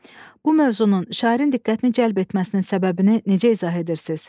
Bu mövzunun şairin diqqətini cəlb etməsinin səbəbini necə izah edərsiniz?